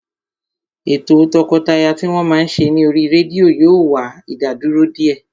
Ètò o tọkọtaya tí wọ́n máa ń ṣe ní oríi rédíò yóò wá ìdádúró díẹ̀